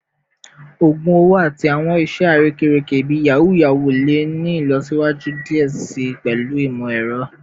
ogun owo ati awọn iṣe arekereke bii yahoo yahoo le ni ilọsiwaju diẹ sii pẹlu imọ-ẹrọ